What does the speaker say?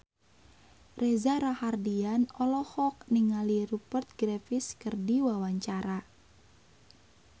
Reza Rahardian olohok ningali Rupert Graves keur diwawancara